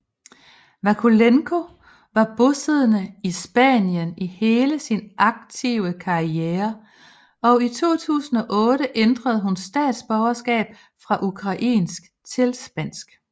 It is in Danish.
Vakulenko var bosiddende i Spanien i hele sin aktive karriere og i 2008 ændrede hun statsborgerskab fra ukrainsk til spansk